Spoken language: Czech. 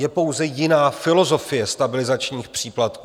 Je pouze jiná filozofie stabilizačních příplatků.